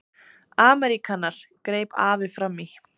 Ameríkanar, greip afi fram í.